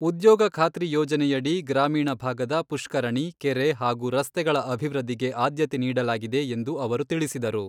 ಉದ್ಯೋಗ ಖಾತ್ರಿ ಯೋಜನೆಯಡಿ ಗ್ರಾಮೀಣ ಭಾಗದ ಪುಷ್ಕರಣಿ, ಕೆರೆ ಹಾಗೂ ರಸ್ತೆಗಳ ಅಭಿವೃದ್ಧಿಗೆ ಆದ್ಯತೆ ನೀಡಲಾಗಿದೆ ಎಂದು ಅವರು ತಿಳಿಸಿದರು.